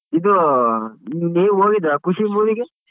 ಇದು ನೀವ್ ಹೋಗಿದ್ರ ಖುಷಿ movie ಗೆ?